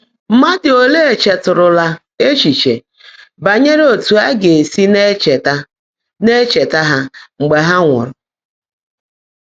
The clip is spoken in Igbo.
Mmádụ́ óleé cheètụ́rụ́lá échíché bányèré ótú á gá-èsi ná-ècheèta ná-ècheèta há mgbe há nwụ́ụ́rụ́?